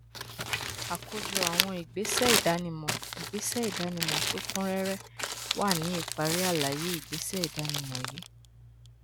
àkójọ àwọn ìgbésẹ ìdánimọ ìgbésẹ ìdánimọ tó kún réré wà ní ìparí àlàyé ìgbésẹ ìdánimọ yìí